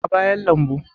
a bayan lambu